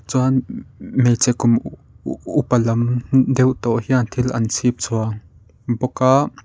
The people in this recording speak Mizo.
chuan hmeichhe kum upa lam deuh tawh hian thil an chhipchhuan bawk a.